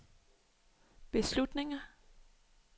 beslutninger